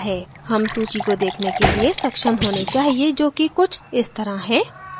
हम सूची को देखने के लिए सक्षम होने चाहिए जो कि कुछ इस तरह हैं